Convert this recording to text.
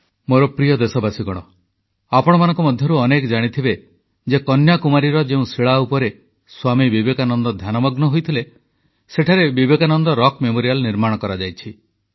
ମୋର ପ୍ରିୟ ଦେଶବାସୀ ଆପଣମାନଙ୍କ ମଧ୍ୟରୁ ଅନେକେ ଜାଣିଥିବେ ଯେ କନ୍ୟାକୁମାରୀର ଯେଉଁ ଶିଳା ଉପରେ ସ୍ୱାମୀ ବିବେକାନନ୍ଦ ଧ୍ୟାନମଗ୍ନ ହୋଇଥିଲେ ସେଠାରେ ବିବେକାନନ୍ଦ ରକ୍ ମେମୋରିଆଲ୍ ନିର୍ମାଣ କରାଯାଇଛି